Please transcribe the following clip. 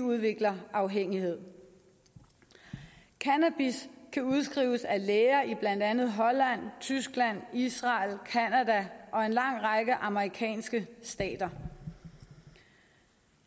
udvikler afhængighed cannabis kan udskrives af læger i blandt andet holland tyskland israel canada og en lang række amerikanske stater